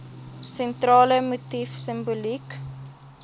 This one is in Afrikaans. sentrale motief simboliek